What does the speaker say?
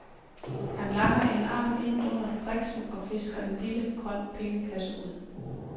Han langer en lang arm ind under briksen og fisker en lille, grøn pengekasse ud.